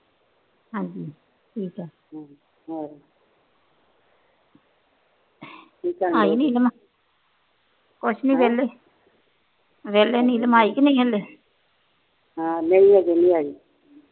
ਹਾ ਨਹੀ ਹਜੇ ਨੀ ਆਈ